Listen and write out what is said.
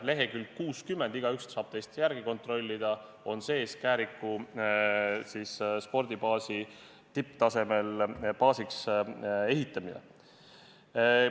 – leheküljel 60, kust igaüks teist saab järele vaadata ja kontrollida, on sees Kääriku spordibaasi tipptasemel baasiks ehitamine.